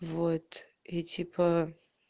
вот и типо